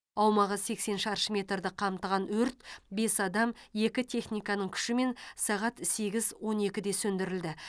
аумағы сексен шаршы метрді қамтыған өрт бес адам екі техниканың күшімен сағат сегіз он екіде сөндірілді